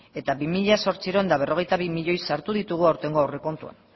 eta bi mila zortziehun eta berrogeita bi milioi sartu ditugu aurtengo aurrekontuan